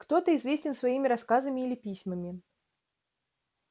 кто-то известен своими рассказами или письмами